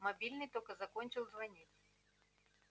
мобильный только закончил звонить